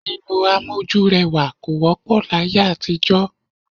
Lílo amójúrẹwà kò wọ́pọ̀ láyé àtijọ́